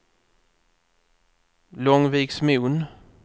Långviksmon